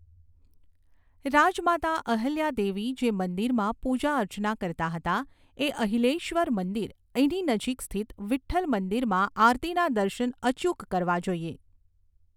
રાજમાતા અહિલ્યા દેવી જે મંદિરમાં પૂજાઅર્ચના કરતા હતા એ અહિલ્યેશ્વર મંદિર, એની નજીક સ્થિત વિઠ્ઠલ મંદિરમાં આરતીના દર્શન અચૂક કરવા જોઈએ.